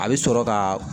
A bɛ sɔrɔ ka